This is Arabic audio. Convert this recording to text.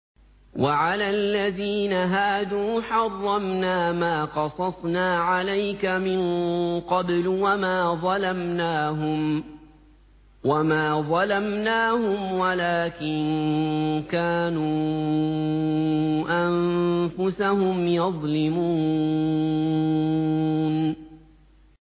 وَعَلَى الَّذِينَ هَادُوا حَرَّمْنَا مَا قَصَصْنَا عَلَيْكَ مِن قَبْلُ ۖ وَمَا ظَلَمْنَاهُمْ وَلَٰكِن كَانُوا أَنفُسَهُمْ يَظْلِمُونَ